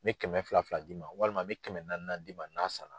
N bɛ kɛmɛ fila fila d'i ma walima n bɛ kɛmɛ naani naani d'i ma n'a sara.